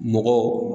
Mɔgɔ